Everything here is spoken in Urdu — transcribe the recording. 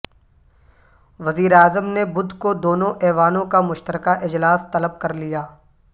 وزیر اعظم نے بدھ کو دونوں ایوانوں کا مشترکہ اجلاس طلب کر لیا